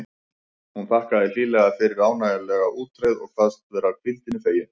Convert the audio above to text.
Hún þakkaði hlýlega fyrir ánægjulega útreið og kvaðst vera hvíldinni fegin.